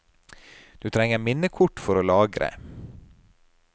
Du trenger minnekort for å lagre.